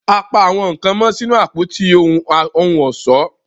a pá àwọn nkán mó sínú Àpótí ohun ọ̀ṣọ́